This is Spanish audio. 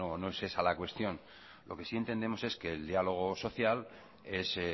no es esa la cuestión lo que sí entendemos es que el diálogo social es